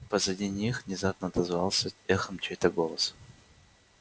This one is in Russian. позади них внезапно отозвался эхом чей-то голос